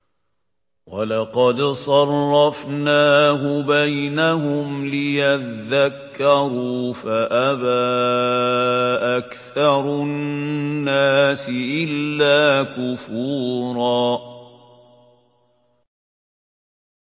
وَلَقَدْ صَرَّفْنَاهُ بَيْنَهُمْ لِيَذَّكَّرُوا فَأَبَىٰ أَكْثَرُ النَّاسِ إِلَّا كُفُورًا